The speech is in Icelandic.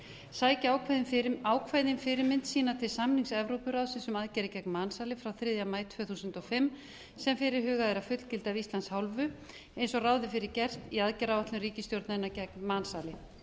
sækja ákvæðin fyrirmynd sína til samnings evrópuráðsins um aðgerðir gegn mansali frá þriðja maí tvö þúsund og fimm sem fyrirhugað er að fullgilda af íslands hálfu eins og ráð er fyrir gert í aðgerðaáætlun ríkisstjórnarinnar gegn mansali